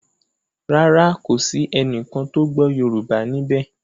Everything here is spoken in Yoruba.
Ràrá kò sí ẹní kán tó gbó yorùbá níbè.